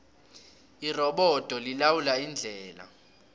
irobodo lilawula indlela